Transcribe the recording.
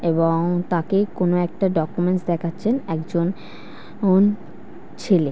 এবং তাকে কোনো একটা ডকুমেন্টস দেখাচ্ছেন একজন অন ছেলে ।